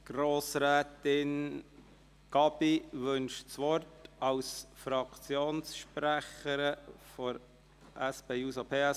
– Grossrätin Gabi wünscht das Wort als Fraktionssprecherin der SP-JUSO-PSA.